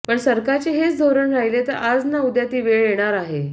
पण सरकारचे हेच धोरण राहिले तर आज ना उद्या ती वेळ येणार आहे